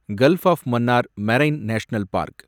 gulf of Mannar marine national park